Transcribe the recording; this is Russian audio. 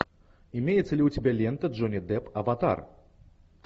имеется ли у тебя лента джонни депп аватар